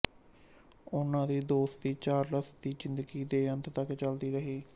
ਉਨ੍ਹਾਂ ਦੀ ਦੋਸਤੀ ਚਾਰਲਸ ਦੀ ਜ਼ਿੰਦਗੀ ਦੇ ਅੰਤ ਤਕ ਚਲਦੀ ਰਹੀ